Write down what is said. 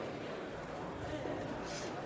det